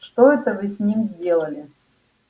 что это вы с ним сделали